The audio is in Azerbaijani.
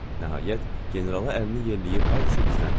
Nəhayət, generala əlini yerləyib hardasa gizləndi.